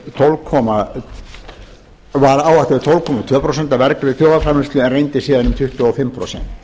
tólf komma tvö prósent af vergri þjóðarframleiðslu en reyndist síðan um tuttugu og fimm prósent